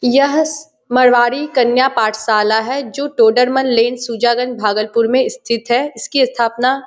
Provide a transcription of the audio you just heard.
यह मारवाड़ी कन्या पाठशाला है जो टोडरमन लेन भागलपुर में स्थित है इसकी स्थापना --